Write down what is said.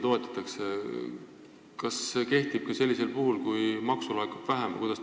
Kas see kehtib ka sellisel puhul, kui maksu laekub vähem?